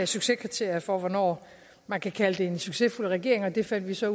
succeskriterier for hvornår man kan kalde det en succesfuld regering og det fandt vi så